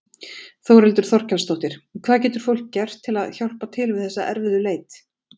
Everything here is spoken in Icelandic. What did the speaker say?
Þórhildur Þorkelsdóttir: Hvað getur fólk gert til að hjálpa til við þessa erfiðu leit?